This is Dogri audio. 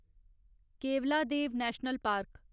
Keoladeo national park